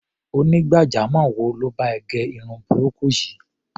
Onígbàjamọ̀ wo ló bá ẹ gẹ irun burúkú yìí?